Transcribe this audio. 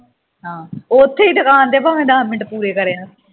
ਓਥੇ ਹੀ ਦੁਕਾਨ ਤੇ ਭਾਵੇਂ ਦਾਸ ਮਿੰਟ ਪੂਰੇ ਕਰੀ ਆ